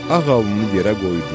Ağ alnını yerə qoydu.